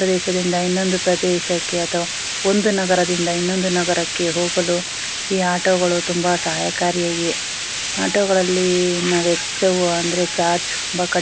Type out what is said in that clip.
ಒಂದು ಪ್ರದೇಶದಿಂದ ಇನ್ನೊಂದು ಪ್ರದೇಶಕ್ಕೆ ಅಥವಾ ಒಂದು ನಗರದಿಂದ ಇನ್ನೊಂದು ನಗರಕ್ಕೆ ಹೋಗಲು ಈ ಆಟೋಗಳು ತುಂಬಾ ಸಹಾಯಕರಿಯಾಗಿದೆ ಆಟೊ ಗಳಲ್ಲಿ ನಾವ ಹೆಚ್ಚುವ --